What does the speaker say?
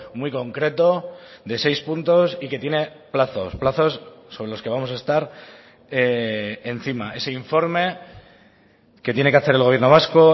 muy concreto de seis puntos y que tiene plazos plazos sobre los que vamos a estar encima ese informe que tiene que hacer el gobierno vasco